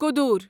کودوٗر